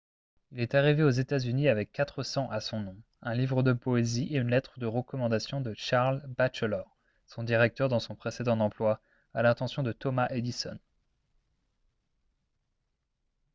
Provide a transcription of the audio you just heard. il est arrivé aux états-unis avec quatre cents à son nom un livre de poésie et une lettre de recommandation de charles batchelor son directeur dans son précédent emploi à l'attention de thomas edison